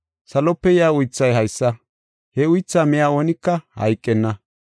Salope yaa uythay haysa; he uythaa miya oonika hayqenna.